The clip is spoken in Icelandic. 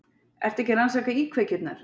Ertu ekki að rannsaka íkveikjurnar?